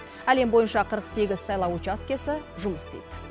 әлем бойынша қырық сегіз сайлау учаскесі жұмыс істейді